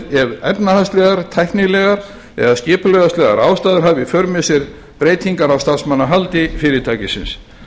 ef efnahagslegar tæknilegar eða skipulagslegar ástæður hafi í för með sér breytingar á starfsmannahaldi fyrirtækisins